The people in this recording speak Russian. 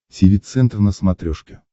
тиви центр на смотрешке